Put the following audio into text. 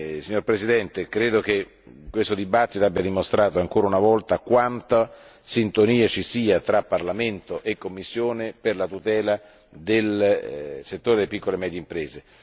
Signor Presidente, credo che questo dibattito abbia dimostrato ancora una volta quanta sintonia ci sia tra Parlamento e Commissione per la tutela del settore delle piccole e medie imprese.